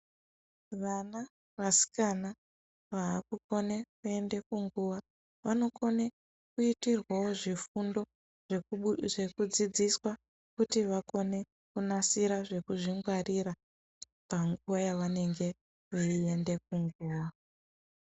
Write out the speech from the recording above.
Vana vasikana vakukona kuenda kunguwa vanokone kuitirwawo zvifundo zvekudzidziswa kuti vakone kunasira zvekuzvingwarira panguva yavanenge veienda kunguwa